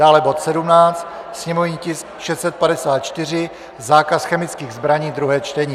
Dále bod 17, sněmovní tisk 654 - zákaz chemických zbraní, druhé čtení.